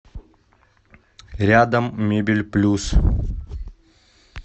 рядом мебель плюс